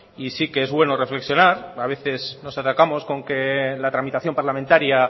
y sí que es bueno reflexionar a veces nos atacamos con que la tramitación parlamentaria